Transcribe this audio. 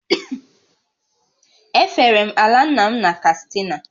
E fere m ala nna m na Katsina